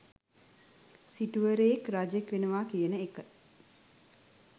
සිටුවරයෙක්, රජෙක් වෙනවා කියන එක